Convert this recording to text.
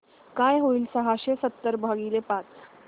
काय होईल सहाशे सतरा भागीले पाच